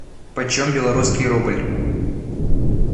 почем белорусский рубль